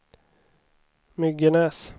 Myggenäs